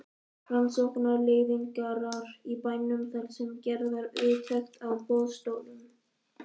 Rannsóknarleiðangrar í bænum þar sem gerð var úttekt á boðstólum.